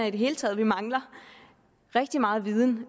i det hele taget mangler rigtig meget viden